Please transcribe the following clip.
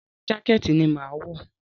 Rárá, jákẹ́ẹ̀tì ni màá wọ̀